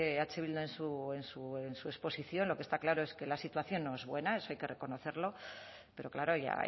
eh bildu en su exposición lo que está claro es que la situación no es buena eso hay que reconocerlo pero claro ya